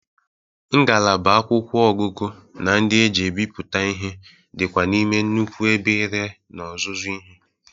Ngalaba akwụkwọ ọgụgụ na ndị e ji ebiputa ihe dị kwa n'ime nnukwu ebe ire na ọzụzụ ihe.